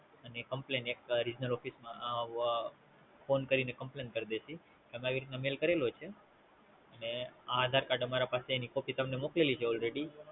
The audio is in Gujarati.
અને Regional office માં Complain કરી દેવાની કે અમે તમે મેલ કર્યુ છે, આ આધાર કાર્ડ અમારા પાસે એની Copy તમે મોકલી છે